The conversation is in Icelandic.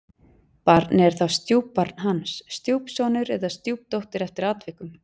Barnið er þá stjúpbarn hans, stjúpsonur eða stjúpdóttir eftir atvikum.